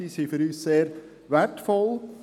Diese sind für uns sehr wertvoll.